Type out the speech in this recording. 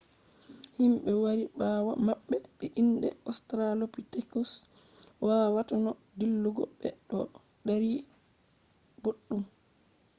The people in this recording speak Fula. himɓe wari ɓawo maɓɓe be inde ostralopitekus wawata no dillugo ɓe ɗo dari boɗɗum